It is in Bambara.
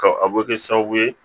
Ka a bɛ kɛ sababu ye